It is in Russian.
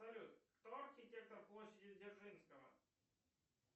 салют кто архитектор площади дзержинского